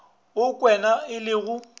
wo kwena e le go